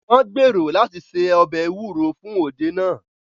Wọ́n gbèrò láti se ọbẹ̀ ewúro fún òde náà